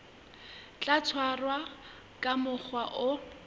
tla tshwarwa ka mokgwa o